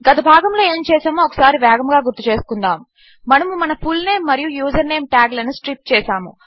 గత భాగములో ఏమి చేసామో ఒకసారి వేగముగా గుర్తుచేసుకుందాము మనము మన ఫుల్నేమ్ మరియు యూజర్నేమ్ టాగ్లను స్ట్రిప్ చేసాము